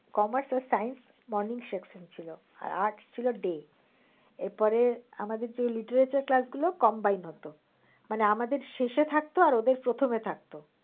commerce আর science morning section ছিল আর arts ছিল day এরপরে আমাদের যে literature class গুলো combine হত মানে আমাদের শেষে থাকত ওদের প্রথমে থাকত।